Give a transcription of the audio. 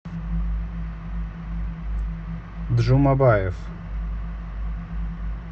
джумабаев